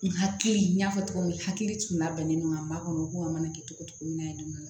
N hakili n y'a fɔ cogo min hakili tun labɛnnen don ŋa makɔnɔ u k'o mana kɛ cogo cogo na ye